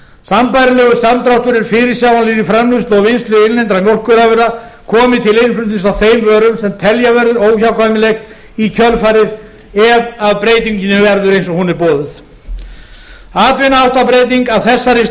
sambærilegur samdráttur er fyrirsjáanlegur í framleiðslu og vinnslu innlendra mjólkurafurða komi til innflutnings á þeim vörum sem telja verður óhjákvæmilegt í kjölfarið ef af breytingunni verður eins og hún er boðuð atvinnuháttabreytingar af þessari